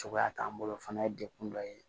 Cogoya t'an bolo o fana ye dekun dɔ ye